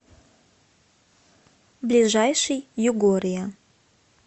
ближайший югория